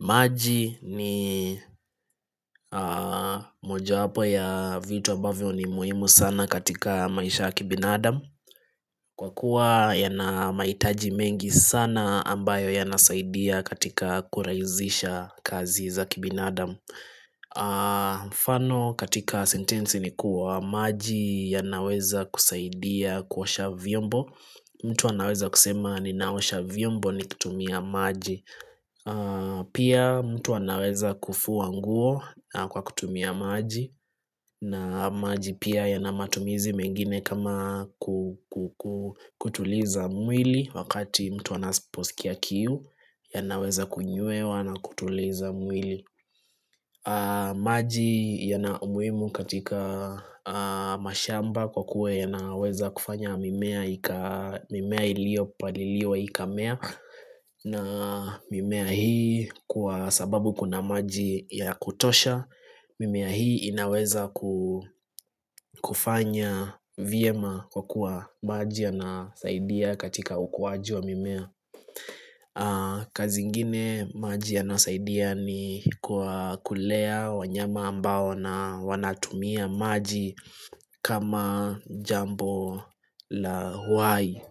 Maji ni moja wapo ya vitu ambavyo ni muhimu sana katika maisha ya kibinadam Kwa kuwa ya na mahitaji mengi sana ambayo ya nasaidia katika kuraisisha kazi za kibinadam mfano katika sentensi ni kuwa maji ya naweza kusaidia kuosha vyombo mtu anaweza kusema ninaosha vyombo ni kutumia maji Pia mtu anaweza kufua nguo kwa kutumia maji na maji pia yanamatumizi mengine kama kutuliza mwili Wakati mtu anaposkia kiu yanaweza kunywewa na kutuliza mwili maji yanaumuhimu katika mashamba kwa kuwa yanaweza kufanya mimea ilio paliliwa ikamea na mimea hii kwa sababu kuna maji ya kutosha mimea hii inaweza kufanya vyema kwa kuwa maji ya nasaidia katika ukuwaji wa mimea kazi ingine maji ya nasaidia ni kwa kulea wanyama ambao na wanatumia maji kama jambo la uhai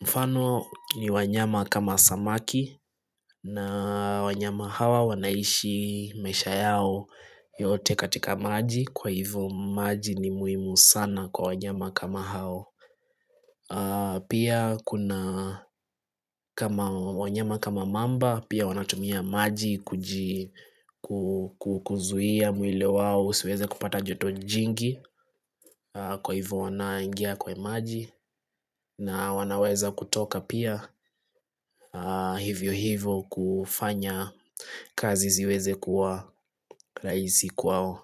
Mfano ni wanyama kama samaki na wanyama hawa wanaishi maisha yao yote katika maji Kwa hivyo maji ni muhimu sana kwa wanyama kama hao Pia kuna kama wanyama kama mamba pia wanatumia maji kuji kuzia mwili wao husiweze kupata joto jingi kwa hivyo wanaingia kwa maji na wanaweza kutoka pia hivyo hivyo kufanya kazi ziweze kuwa rahisi kwao.